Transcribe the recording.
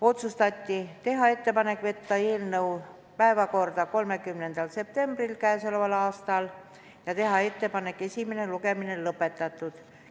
Otsustati teha ettepanek võtta eelnõu päevakorda 30. septembriks käesoleval aastal ja teha ettepanek esimene lugemine lõpetada.